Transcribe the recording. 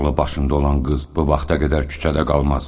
Ağlı başında olan qız bu vaxta qədər küçədə qalmaz.